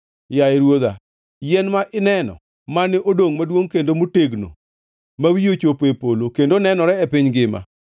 Yaye ruodha, yien mane ineno, mane odongo maduongʼ kendo motegno ma wiye ochopo e polo kendo nenore e piny ngima,